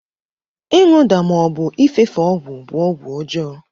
ịṅụda ma ọbụ ịfefe ọgwụ bụ ọgwụ ọjọọ.